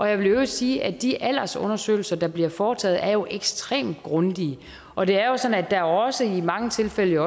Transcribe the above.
jeg vil i øvrigt sige at de aldersundersøgelser der bliver foretaget jo er ekstremt grundige og det er jo sådan at der også i mange tilfælde